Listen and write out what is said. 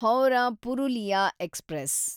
Howrah Purulia express